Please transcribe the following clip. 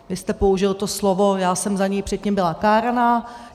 Vy jste použil to slovo, já jsem za něj předtím byla káraná.